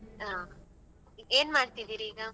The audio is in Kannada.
ಹಾ ಏನ್ ಮಾಡ್ತಿದ್ದೀರಿ ಈಗ?